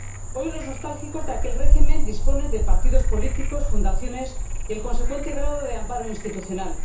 Hoy, los nostálgicos de aquel régimen disponen de partidos políticos, fundaciones y del consecuente grado de amparo institucional.